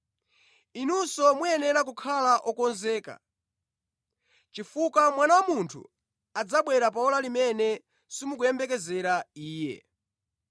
Inunso muyenera kukhala okonzeka, chifukwa Mwana wa Munthu adzabwera pa ora limene simukumuyembekezera Iye.”